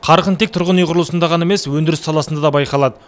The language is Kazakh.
қарқын тек тұрғын үй құрылысында ғана емес өндіріс саласында да байқалады